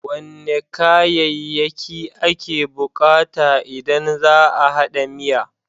Wane kayayyaki ake bukata idan za a hada miya?